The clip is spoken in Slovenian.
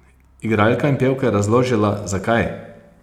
Igralka in pevka je razložila, zakaj!